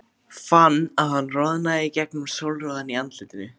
Fann að hann roðnaði í gegnum sólroðann í andlitinu.